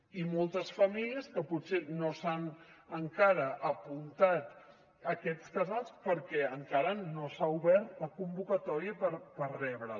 i moltes famílies que potser no s’han encara apuntat a aquests casals perquè encara no s’ha obert la convocatòria per rebre les